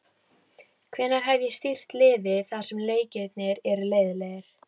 Hvenær hef ég stýrt liði þar sem leikirnir eru leiðinlegir?